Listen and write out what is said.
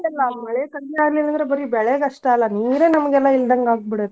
ಮಳಿ ಕಡ್ಮಿ ಆಗ್ಲಿಲ್ಲಾಂದ್ರೆ ಬರಿ ಬೆಳೆಗಷ್ಟ ಅಲ್ಲ ನೀರ್ ನಮ್ಗೆಲ್ಲಾ ಇಲ್ಲಂದನ್ಗ್ ಆಗಿಬಿಡತ್ತ.